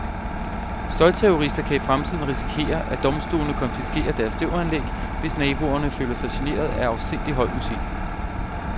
Støjterrorister kan i fremtiden risikere, at domstolene konfiskerer deres stereoanlæg, hvis naboerne føler sig generet af afsindigt høj musik.